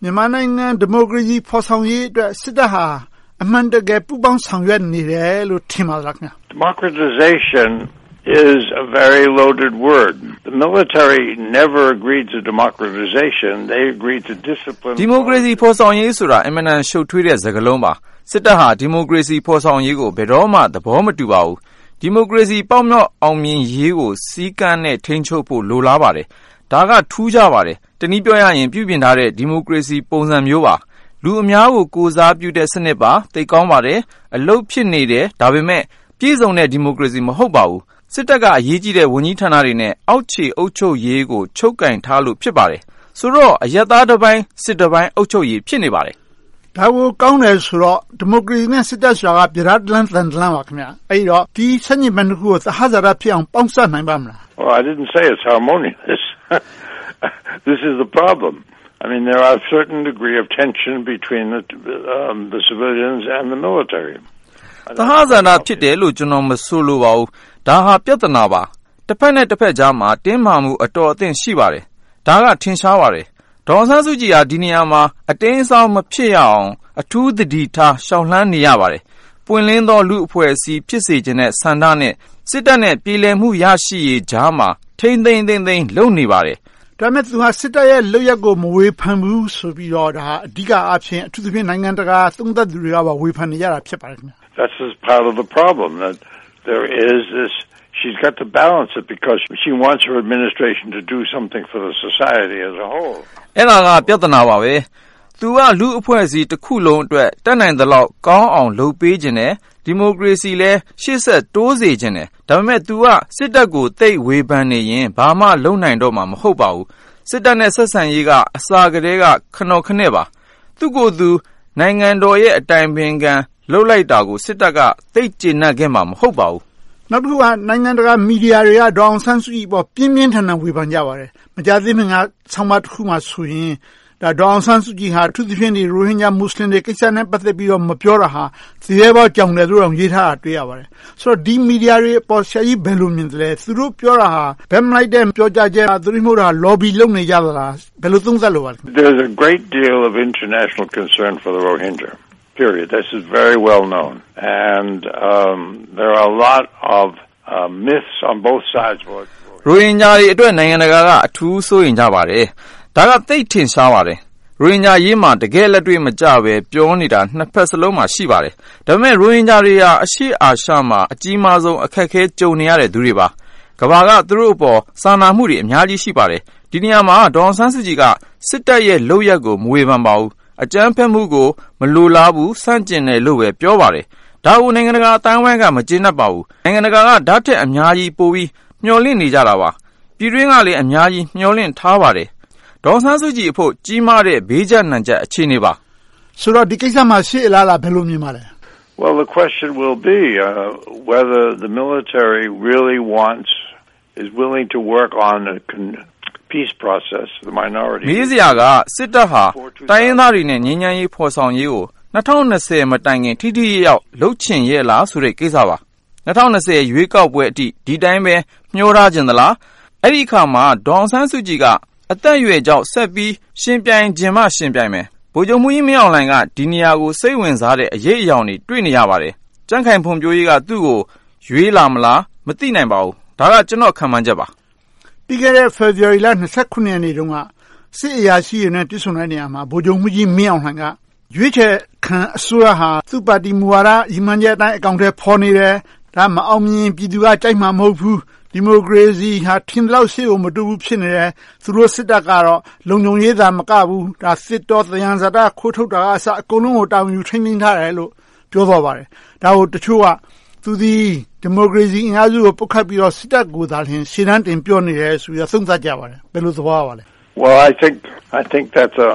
မြန်မာနိုင်ငံ ဒီမိုကရေစီဖော်ဆောင်ရေးအတွက် စစ်တပ်ဟာ အမှန်တကယ် ပူးပေါင်းဆောင်ရွက်နေတယ်လို့ ထင်ပါသလား။ Prof. Steinberg ။ ။ ဒီမိုကရေစီ ဖော်ဆောင်ရေးဆိုတာ အင်မတန် ရှုပ်ထွေးတဲ့စကားလုံးပါ။ စစ်တပ်ဟာ ဒီမိုကရေစီ ဖော်ဆောင်ရေးကို ဘယ်တော့မှ သဘောမတူပါဘူး။ ဒီမိုကရေစီ ပေါက်မြောက်အောင်မြင်ရေးကို စည်းကမ်းနဲ့ ထိန်းချုပ်ဖို့ လိုလားပါတယ်။ ဒါက ထူးခြားပါတယ်။ တနည်းပြောရရင် ပြုပြင်ထားတဲ့ ဒီမိုကရေစီ ပုံစံမျိုးပါ။ လူအများကို ကိုယ်စားပြုတဲ့ စနစ်ပါ။ အလုပ်ဖြစ်နေတယ်။ ဒါပေမဲ့ ပြည့်စုံတဲ့ ဒီမိုကရေစီ မဟုတ်ပါဘူး။ စစ်တပ်က အရေးကြီးတဲ့ ဝန်ကြီးဌာနတွေနဲ့ အောက်ခြေအုပ်ချုပ်ရေးကို ချုပ်ကိုင်ထားလို့ ဖြစ်ပါတယ်။ ဆိုတော့ အရပ်သားတပိုင်း၊ စစ်သားတပိုင်း အုပ်ချုပ်ရေး ဖြစ်နေပါတယ်။ ဦးကျော်ဇံသာ ။ ။ ဒါကို ကောင်းတယ်ဆိုတော့ ဒီမိုကရေစီနဲ့ စစ်တပ်တို့က ပြဒါးတလမ်း သံတလမ်းပါ။ အဲဒီတော့ ဒီဆန့်ကျင်ဘက်နှစ်ခုကို သဟဇာတဖြစ်အောင် ပေါင်းစပ်နိုင်ပါ့မလား။ Prof. Steinberg ။ ။ သဟဇာတ ဖြစ်တယ်လို့ ကျနော် မဆိုလိုပါဘူး။ ဒါဟာ ပြဿနာပါ။ တဘက်နဲ့တဘက်ကြားမှာ တင်းမာမှု အတော်အသင့် ရှိပါတယ်။ ဒါက ထင်ရှားပါတယ်။ ဒေါ်အောင်ဆန်းစုကြည် က ဒီနေရာမှာ အတိမ်အစောင်း မဖြစ်အောင် အထူးသတိထား လျှောက်လှမ်းနေရပါတယ်။ ပွင့်လင်းသော လူ့အဖွဲ့အစည်း ဖြစ်စေချင်တဲ့ ဆန္ဒနဲ့ စစ်တပ်နဲ့ ပြေလည်မှု ရရှိရေးကြားမှာ ထိန်းထိန်းသိမ်းသိမ်း လုပ်နေပါတယ်။ ဦးကျော်ဇံသာ ။ ။ ဒါပေမဲ့ သူက စစ်တပ်ရဲ့ လုပ်ရပ်ကို မဝေဖန်ဘူးဆိုပြီးတော့ အဓိကအားဖြင့် အထူးသဖြင့် နိုင်ငံတကာ သုံးသပ်သူတွေက ဝေဖန်နေကြတာ ဖြစ်ပါတယ်။ Prof. Steinberg ။ ။ အဲဒါက ပြဿနာပါပဲ။ သူက လူ့အဖွဲ့အစည်းတခုလုံးအတွက် တတ်နိုင်သလောက်ကောင်းအောင် လုပ်ပေးချင်တယ်။ ဒီမိုကရေစီကိုလည်း ရှေ့ဆက်တိုးစေချင်တယ်။ ဒါပေမဲ့ သူက စစ်တပ်ကို သိပ်ဝေဖန်နေရင် ဘာမှလုပ်နိုင်တော့မှာ မဟုတ်ပါဘူး။ စစ်တပ်နဲ့ ဆက်ဆံရေးက အစကတည်းက ခနော်ခနဲ့ပါ။ သူ့ကိုယ်သူ နိုင်ငံတော်၏ အတိုင်ပင်ခံ ပုဂ္ဂိုလ် လုပ်လိုက်တာကို စစ်တပ်က သိပ်ကျေနပ်ခဲ့မှာ မဟုတ်ပါဘူး။ ဦးကျော်ဇံသာ ။ ။ နောက်တခုက နိုင်ငံတကာ မီဒီယာတွေက ဒေါ်အောင်ဆန်းစုကြည်အပေါ် ပြင်းပြင်းထန်ထန် ဝေဖန်ကြပါတယ်။ မကြာသေးခင်က ဆောင်းပါးတခုမှာဆိုရင် ဒေါ်အောင်ဆန်းစုကြည်က အထူးသဖြင့် ရိုဟင်ဂျာမူစလင်တွေ ကိစ္စနဲ့ ပတ်သက်ပြီးတော့ မပြောတာဟာ သူရဲဘောကြောင်တယ်လို့တောင် ပြောထားပါတယ်။ ဆိုတော့ ဒီ မီဒီယာတွေအပေါ် ဆရာကြီး ဘယ်လိုမြင်သလဲ။ သူတို့ပြောတာဟာ ဘက်မလိုက်တဲ့ ပြောကြားချက်လား။ သို့တည်းမဟုတ် Lobby လုပ်နေကြတာလား။ ဘယ်လို သုံးသပ်လိုပါလဲ။ Prof. Steinberg ။ ။ ရိုဟင်ဂျာတွေအတွက် နိုင်ငံတကာက အထူးစိုးရိမ်ကြပါတယ်။ ဒါက သိပ်ထင်ရှားပါတယ်။ ရိုဟင်ဂျာအရေးမှာ တကယ့်လက်တွေ့မကျဘဲ ပြောနေတာ နှစ်ဘက်စလုံးမှာ ရှိပါတယ်။ ဒါပေမဲ့ ရိုဟင်ဂျာတွေဟာ အရှေ့အာရှမှာ အကြီးမားဆုံး အခက်အခဲ ကြုံနေရတဲ့သူတွေပါ။ ကမ္ဘာက သူတို့အပေါ် စာနာမှုတွေ အများကြီးရှိပါတယ်။ ဒီနေရာမှာ ဒေါ်အောင်ဆန်းစုကြည်က စစ်တပ်ရဲ့ လုပ်ရပ်ကို မဝေဖန်ပါဘူး။ အကြမ်းဖက်မှုကို မလိုလားဘူး။ ဆန့်ကျင်တယ်လို့ပဲ ပြောပါတယ်။ ဒါကို နိုင်ငံတကာအသိုင်းအဝိုင်းက မကျေနပ်ပါဘူး။ နိုင်ငံတကာက ဒါထက်အများကြီး ပိုပြီးမျှော်လင့်နေကြတာပါ။ ပြည်တွင်းကလည်း အများကြီး မျှော်လင့်ထားပါတယ်။ ဒေါ်အောင်ဆန်းစုကြည်အဖို့ ကြီးမားတဲ့ ဘေးကျပ်နံကျပ် အခြေအနေပါ။ ဦးကျော်ဇံသာ ။ ။ ဆိုတော့ ဒီကိစ္စမှာ ရှေ့အလားအလာ ဘယ်လိုမြင်ပါလဲ။ Prof. Steinberg ။ ။ မေးစရာက စစ်တပ်ဟာ တိုင်းရင်းသားတွေနဲ့ ငြိမ်းချမ်းရေးဖော်ဆောင်ရေးကို ၂၀၂၀ မတိုင်ခင် ထိထိရောက်ရောက် လုပ်ချင်ရဲ့လားဆိုတဲ့ ကိစ္စပါ။ ၂၀၂၀ ရွေးကောက်ပွဲအထိ ဒီအတိုင်းပဲ မျောထားချင်သလား။ အဲဒီအခါမှာ ဒေါ်အောင်ဆန်းစုကြည်က အသက်အရွယ်ကြောင့် ဆက်ပြီးယှဉ်ပြိုင်ချင်မှ ယှဉ်ပြိုင်မယ်။ ဗိုလ်ချုပ်မှူးကြီးမင်းအောင်လှိုင်က ဒီနေရာကို စိတ်ဝင်စားတဲ့ အရိပ်အရောင်တွေ တွေ့နေရပါတယ်။ ကြံ့ခိုင်ဖွံ့ဖြိုးရေးက သူကို ရွေးလာမလား။ မသိနိုင်ပါဘူး။ ဒါက ကျနော့် ခန့်မှန်းချက်ပါ။ ဦးကျော်ဇံသာ ။ ။ ပြီးခဲ့တဲ့ ဖေဖေါ်ဝါရီလ ရက်နေ့တုန်းက စစ်အရာရှိတွေနဲ့ တွေ့ဆုံတဲ့နေရာမှာ ဗိုလ်ချုပ်မှူးကြီးမင်းအောင်လှိုင်က ရွေးချယ်ခံအစိုးရဟာ သူ့ပါတီမူဝါဒအတိုင်း အကောင်အထည်ဖော်နေတယ်။ ဒါ မအောင်မြင်ရင် ပြည်သူက ကြိုက်မှာမဟုတ်ဘူး။ ဒီမိုကရေစီဟာ ထင်သလောက် ရှေ့ကို မတိုးဘူးဖြစ်နေတယ်။ သူတို့စစ်တပ်ကတော့ လုံခြုံရေးသာမကဘူး၊ သစ်တော၊ သယံဇာတ ခိုးထုတ်တာကအစ အကုန်လုံးကို တာဝန်ယူထိန်းသိမ်းထားတယ်လို့ ပြောသွားပါတယ်။ ဒါကို တချို့က သူသည် ဒီမိုကရေစီအင်အားစုတွေကို ပုတ်ခတ်ပြီးတော့ စစ်တပ်ကိုသာ ရှေ့တန်းတင်ပြောနေတယ်လို့ သုံးသပ်ကြပါတယ်။ ဘယ်လို သဘောရပါလဲ။ Prof. Steinberg ။ ။ ဒါကတော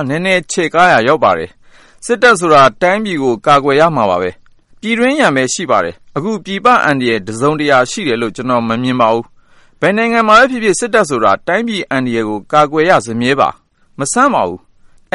့ နည်းနည်းချဲ့ကားရာ ရောက်ပါတယ်။ စစ်တပ်ဆိုတာ တိုင်းပြည်ကို ကာကွယ်ရမှာပဲ။ ပြည်တွင်းရန်ပဲ ရှိပါတယ်။ အခုပြည်ပအန္တရာယ် တစုံတရာ ရှိတယ်လို့ ကျနော် မမြင်ပါဘူး။ ဘယ်နိုင်ငံမှာပဲဖြစ်ဖြစ် စစ်တပ်ဆိုတာ တိုင်းပြည်အန္တရာယ်ကို ကာကွယ်ရစမြဲပါ။ မဆန်းပါဘူး။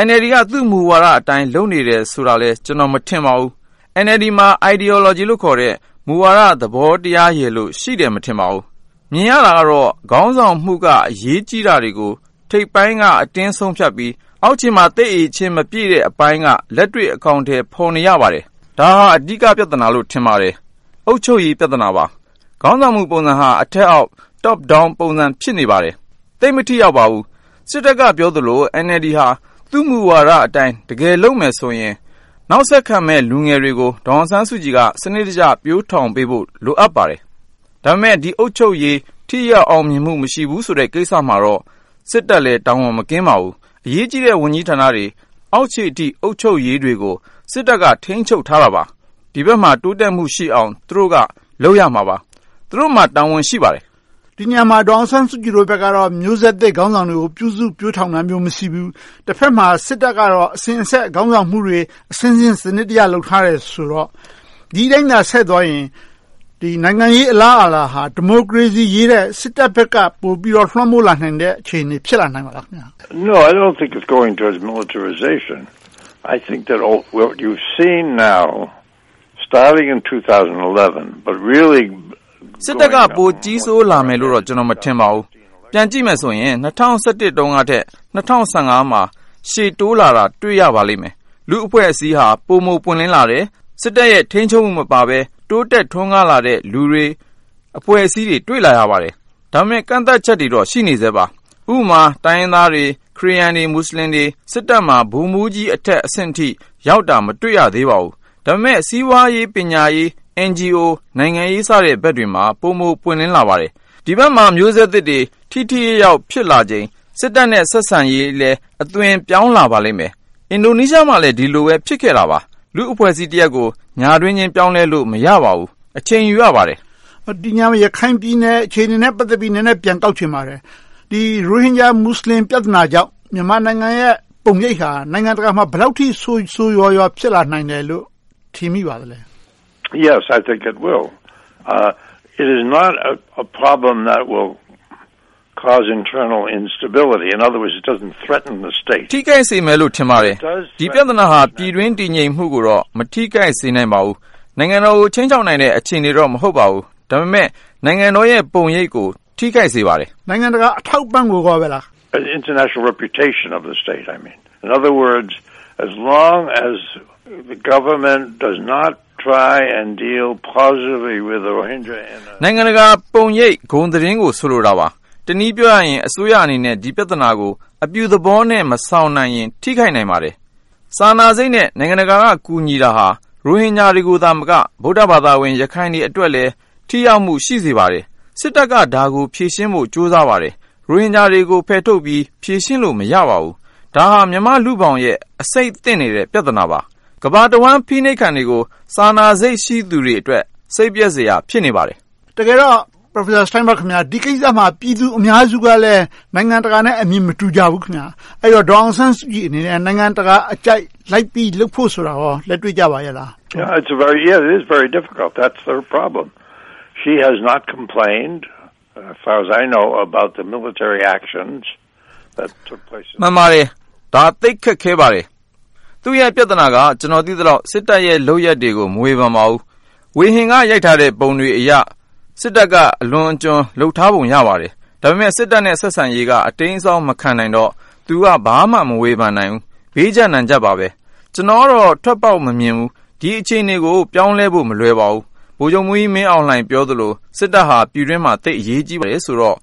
NLD က သူ့မူဝါဒအတိုင်း လုပ်နေတယ်ဆိုတာလည်း ကျနော် မထင်ပါဘူး။ NLD မှာ Ideology လို့ခေါ်တဲ့ မူဝါဒသဘောတရားရယ်လို့ ရှိတယ် မထင်ပါဘူး။ မြင်ရတာကတော့ ခေါင်းဆောင်မှုက အရေးကြီးတာတွေကို ထိပ်ပိုင်းက အတင်းဆုံးဖြတ်ပြီး အောက်ခြေမှာ သိပ်အရည်အချင်း မပြည့်တဲ့အပိုင်းက လက်တွေ့အကောင်အထည် ဖော်နေရပါတယ်။ ဒါဟာ အဓိကပြဿနာလို့ ထင်ပါတယ်။ အုပ်ချုပ်ရေး ပြဿနာပါ။ ခေါင်းဆောင်မှုပုံစံဟာ အထက်အောက် Top-Down ပုံစံ ဖြစ်နေပါတယ်။ သိပ်မထိရောက်ပါဘူး။ စစ်တပ်က ပြောသလို NLD ဟာ သူ့မူဝါဒအတိုင်း တကယ်လုပ်မယ်ဆိုရင် နောက်ဆက်ခံမယ့် လူငယ်တွေကို ဒေါ်အောင်ဆန်းစုကြည်က စနစ်တကျ ပျိုထောင်ပေးဖို့ လိုအပ်ပါတယ်။ ဒါပေမဲ့ ဒီအုပ်ချုပ်ရေး ထိရောက်အောင်မြင်မှု မရှိဘူးဆိုတဲ့ ကိစ္စမှာတော့ စစ်တပ်လည်း တာဝန်မကင်းပါဘူး။ အရေးကြီးတဲ့ ဝန်ကြီးဌာနတွေ အောက်ခြေအထိ အုပ်ချုပ်ရေးတွေကို စစ်တပ်က ထိန်းချုပ်ထားတာပါ။ ဒီဘက်မှာ တိုးတက်မှုရှိအောင် သူတို့က လုပ်ရမှာပါ။ သူတို့မှာ တာဝန်ရှိပါတယ်။ ဦးကျော်ဇံသာ ။ ။ ဒီနေရာမှာ ဒေါ်အောင်ဆန်းစုကြည်ဘက်ကတော့ မျိုးဆက်သစ်ခေါင်းဆောင်တွေကို ပြုစုပျိုထောင်တာမျိုး မရှိဘူး။ တဘက်မှာ စစ်တပ်ကတော့ အစဉ်အဆက် ခေါင်းဆောင်မှုတွေ အဆင့်ဆင့် စနစ်တကျ လုပ်ထားတယ်ဆိုတော့ ဒီအတိုင်းသာ ဆက်သွားရင် နိုင်ငံရေးအလားအလာဟာ ဒီမိုကရေစီအရေးထက် စစ်တပ်ဘက်က ပိုပြီးတော့ လွှမ်းမိုးလာနိုင်တဲ့ အခြေအနေ ဖြစ်လာနိုင်ပါသလား။ Prof. Steinberg ။ ။ စစ်တပ်က ပိုကြီးဆိုးလာမယ်လို့တော့ ကျနော် မထင်ပါဘူး။ ပြန်ကြည့်မယ်ဆိုရင် ၂၀၁၁ တုန်းကထက် ၂၀၁၁ တုန်းက ရှေ့တိုးလာတာ တွေ့ရပါလိမ့်မယ်။ လူ့အဖွဲ့အစည်းဟာ ပိုမိုပွင့်လင်းလာတယ်။ စစ်တပ်ရဲ့ ထိန်းချုပ်မှုမပါဘဲ တိုးတက်ထွန်းကားလာတဲ့ လူတွေအဖွဲ့အစည်းတွေကို တွေ့လာရပါတယ်။ ဒါပေမဲ့ ကန့်သတ်ချက်တွေတော့ ရှိနေဆဲပါ။ ဥပမာ တိုင်းရင်းသားတွေ၊ ခရစ်ယာန်တွေ၊ မူစလင်တွေ စစ်တပ်မှာ ဗိုလ်မှူးကြီးအထက်အဆင့်အထိ ရောက်တာ မတွေ့ရသေးပါဘူး။ ဒါပေမဲ့ စီးပွားရေး၊ ပညာရေး၊ NGO နိုင်ငံရေးစတဲ့ ဘက်တွေမှာ ပိုမိုပွင့်လင်းလာပါတယ်။ ဒီဘက်မှာ မျိုးဆက်သစ်တွေ ထိထိရောက်ရောက် ဖြစ်လာချိန် စစ်တပ်နဲ့ ဆက်ဆံရေးလည်း အသွင်ပြောင်းလာပါလိမ့်မယ်။ အင်ဒိုနီးရှားမှာလည်း ဒီလိုပဲ ဖြစ်ခဲ့တာပါ။ လူ့အဖွဲ့အစည်းတရပ်ကို ညတွင်းချင်း ပြောင်းလဲလို့ မရပါဘူး။ အချိန်ယူရပါတယ်။ ဦးကျော်ဇံသာ ။ ။ ဒီနေရာမှာ ရခိုင်ပြည်နယ်အခြေအနေနဲ့ ပတ်သက်ပြီး နည်းနည်းပြန်တောက်ချင်ပါတယ်။ ရိုဟင်ဂျာမူစလင် ပြဿနာကြောင့် မြန်မာနိုင်ငံရဲ့ ပုံရိပ်ဟာ နိုင်ငံတကာမှာ ဘယ်လောက်အထိ ဆိုးဆိုးရွားရွား ဖြစ်လာနိုင်မယ်လို့ ထင်မိပါသလဲ။ Prof. Steinberg ။ ။ ထိခိုက်စေမယ်လို့ ထင်ပါတယ်။ ဒီပြဿနာက ပြည်တွင်းတည်ငြိမ်မှုကိုတော့ မထိခိုက်စေနိုင်ပါဘူး။ နိုင်ငံတော်ကို ခြိမ်းခြောက်နိုင်မယ့် အခြေအနေတော့ မဟုတ်ပါဘူး။ ဒါပေမဲ့ နိုင်ငံတော်ရဲ့ ပုံရိပ်ကို ထိခိုက်စေပါတယ်။ ဦးကျော်ဇံသာ ။ ။ နိုင်ငံတကာ အထောက်အပံ့ကို ဆိုလိုတာလား။ Prof. Steinberg ။ ။ နိုင်ငံတကာပုံရိပ် ဂုဏ်သတင်းကို ဆိုလိုတာပါ။ တနည်းပြောရရင် အစိုးရအနေနဲ့ ဒီပြဿနာကို အပြုသဘောနဲ့ မဆောင်နိုင်ရင် ထိခိုက်နိုင်ပါတယ်။ စာနာစိတ်နဲ့ နိုင်ငံတကာက ကူညီနေတာဟာ ရိုဟင်ဂျာတွေသာမက ဗုဒ္ဓဘာသာ ရခိုင်တွေအတွက်လည်း ထိရောက်မှု ရှိစေပါတယ်။ စစ်တပ်က ဒါကိုဖြေရှင်းဖို့ ကြိုးစားပါတယ်။ ရိုဟင်ဂျာတွေကို ဖယ်ထုတ်ပြီး ဖြေရှင်းလို့ မရပါဘူး။ ဒါဟာ မြန်မာ့လူ့ဘောင်ရဲ့ အဆိပ်သင့်နေတဲ့ ပြဿနာပါ။ ကမ္ဘာတဝှမ်း အဖိနှိပ်ခံတွေကို စာနာစိတ်ရှိသူတွေအတွက် စိတ်ပျက်စရာ ဖြစ်နေပါတယ်။ ဦးကျော်ဇံသာ ။ ။ တကယ်တော့ Dr. Steinberg ခင်များ ဒီကိစ္စမှာ ပြည်သူအများစုကလည်း နိုင်ငံတကာနဲ့ အမြင်မတူကြဘူးခင်များ။ ဒေါ်အောင်ဆန်းစုကြည်အနေနဲ့ နိုင်ငံတကာအကြိုက် လိုက်ပြီးလုပ်ဖို့ဆိုတာကော လက်တွေ့ကျပါသလား။ Prof. Steinberg ။ ။ မှန်ပါတယ်။ ဒါ သိပ်ခက်ခဲပါတယ်။ သူ့ရဲ့ပြဿနာက ကျနော် သိသလောက် စစ်တပ်ရဲ့ လုပ်ရပ်တွေကို မဝေဖန်ပါဘူး။ ဝေဟင်က ရိုက်ထားတဲ့ ပုံတွေအရ စစ်တပ်က အလွန်အကျွံ လုပ်ထားပုံ ရပါတယ်။ ဒါပေမဲ့ စစ်တပ်နဲ့ ဆက်ဆံရေးက အတိမ်းအစောင်း မခံနိုင်တော့ သူက ဘာမှမဝေဖန်နိုင်ဘူး။ ဘေးကျပ်နံကျပ်ပါပဲ။ ကျနော်ကတော့ ထွက်ပေါက်မမြင်ဘူး။ ဒီအခြေအနေကို ပြောင်းလဲဖို့ မလွယ်ပါဘူး။ ဗိုလ်ချုပ်မှူးကြီး မင်းအောင်လှိုင် ပြောသလို စစ်တပ်ဟာ ပြည်တွင်းမှာ သိပ်အရေးကြီးတယ်ဆိုတော့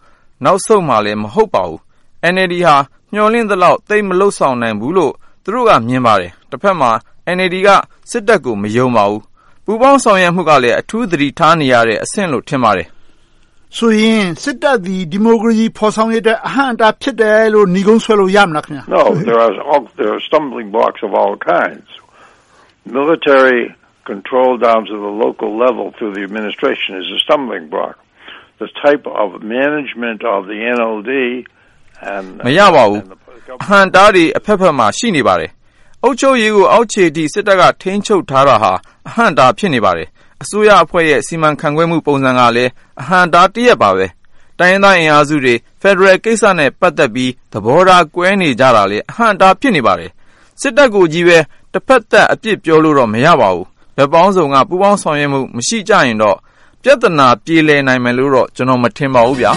နောက်ဆုတ်မှာလည်း မဟုတ်ပါဘူး။ NLD ဟာ မျှော်လင့်သလောက် သိပ်မလုပ်ဆောင်နိုင်ဘူးလို့ သူတို့က မြင်ပါတယ်။ တဘက်မှာ NLD က စစ်တပ်ကို မယုံပါဘူး။ ပူးပေါင်းဆောင်ရွက်မှုကလည်း အထူးသတိထားနေရတဲ့ အဆင့်လို့ ထင်ပါတယ်။ ဦးကျော်ဇံသာ ။ ။ ဆိုသည် စစ်တပ်သည် ဒီမိုကရေစီ ဖော်ဆောင်ရေးအတွက် အဟန့်အတား ဖြစ်တယ်လို့ နိဂုံးဆွဲလို့ရမလား။ Prof. Steinberg ။ ။ မရပါဘူး။ အဟန့်အတားတွေ အဘက်ဘက်မှာ ရှိနေပါတယ်။ အုပ်ချုပ်ရေးကို အောက်ခြေအထိ စစ်တပ်က ထိန်းချုပ်ထားတာဟာ အဟန့်အတား ဖြစ်နေပါတယ်။ အစိုးရအဖွဲ့ရဲ့ အစီအမံခန့်ခွဲမှု ပုံစံကလည်း အဟန့်အတားတရပ်ပါပဲ။ တိုင်းရင်းသားအင်အားစုတွေ ဖယ်ဒရယ်ကိစ္စနဲ့ ပတ်သက်ပြီး သဘောထား ကွဲနေကြတာလည်း အဟန့်အတား ဖြစ်နေပါတယ်။ စစ်တပ်ကိုကြီးပဲ တဘက်သတ် အပြစ်ပြောလို့တော့ မရပါဘူး။ ဘက်ပေါင်းစုံက ပူးပေါင်းဆောင်ရွက်မှု မရှိကြရင်တော့ ပြဿနာ ပြေလည်နိုင်မယ်လို့တော့ မထင်ပါဘူးဗျာ